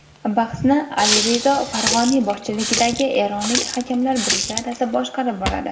Bahsni Alirizo Fag‘oniy boshchiligidagi eronlik hakamlar brigadasi boshqarib boradi.